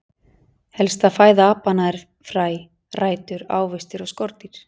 Helsta fæða apanna er fræ, rætur, ávextir og skordýr.